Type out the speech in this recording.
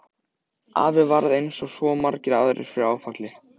Afi varð eins og svo margir aðrir fyrir áfalli.